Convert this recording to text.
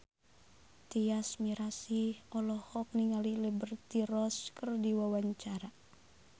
Tyas Mirasih olohok ningali Liberty Ross keur diwawancara